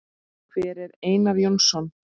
Hver er Einar Jónsson?